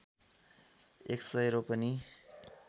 १०० रोपनि